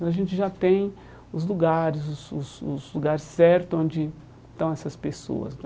Aí a gente já tem os lugares, os os os lugares certos onde estão essas pessoas.